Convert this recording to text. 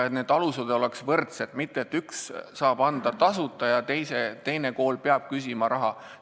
Alused peaksid olema võrdsed, mitte nii, et üks saab õpetada tasuta ja teine kool peab küsima raha.